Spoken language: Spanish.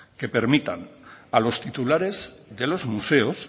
que permitan a los titulares de los museos